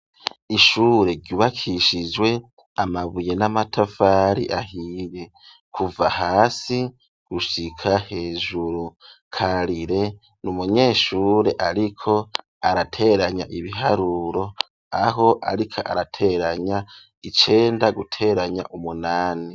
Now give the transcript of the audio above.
Ishure ryubakishijwe amabuye n'amatafari ahiye kuva hasi gushika hejuru, Karire n'umunyeshure ariko arateranya ibiharuro aho ariko arateranya icenda guteranya umunani.